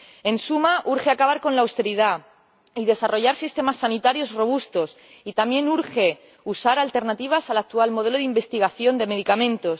En suma, urge acabar con la austeridad y desarrollar sistemas sanitarios robustos, y también urge recurrir a alternativas al actual modelo de investigación de medicamentos.